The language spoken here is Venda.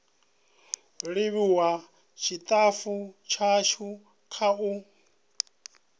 livhuwa tshitafu tshashu kha u